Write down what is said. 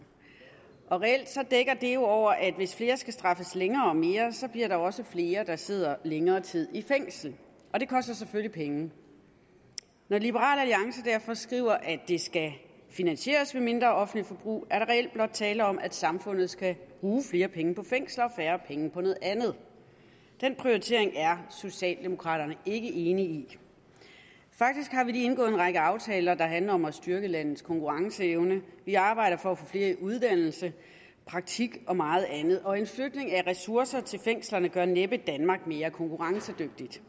reelt dækker det jo over at hvis flere skal straffes længere og mere bliver der også flere der sidder længere tid i fængsel og det koster selvfølgelig penge når liberal alliance derfor skriver at det skal finansieres ved mindre offentligt forbrug er der reelt blot tale om at samfundet skal bruge flere penge på fængsler og færre penge på noget andet den prioritering er socialdemokraterne ikke enig i faktisk har vi lige indgået en række aftaler der handler om at styrke landets konkurrenceevne vi arbejder for at få flere i uddannelse praktik og meget andet og en flytning af ressourcer til fængslerne gør næppe danmark mere konkurrencedygtigt